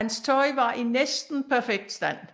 Hans tøj var i næsten perfekt stand